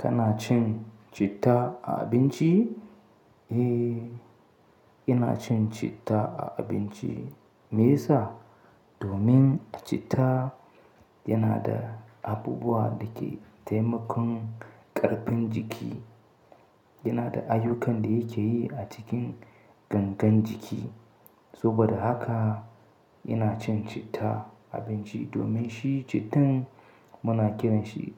Kana cin citta a abinci? Eh, ina cin citta a abinci. Me yasa? Domin citta yana da abubuwa da ke taimakon ƙarfin jiki. Yana da ayyukan da yake yi a cikin gangan jiki. Saboda haka ina cin citta a abinci domin shi cittan muna kiranshi